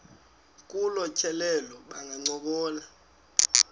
kolu tyelelo bangancokola